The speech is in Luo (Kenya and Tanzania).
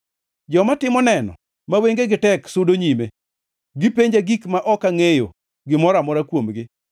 Joma timo neno ma wengegi tek sudo nyime; gipenja gik ma ok angʼeyo gimoro amora kuomgi.